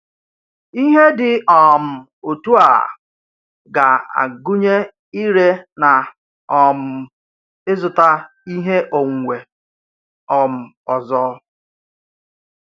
Ihe dị um otu a ga-agụnye ire na um ịzụta ihe onwunwe um ọzọ.